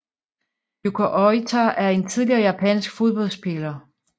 Yuko Oita er en tidligere japansk fodboldspiller